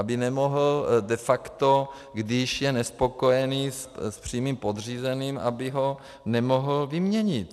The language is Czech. Aby nemohl de facto, když je nespokojený s přímým podřízeným, aby ho nemohl vyměnit.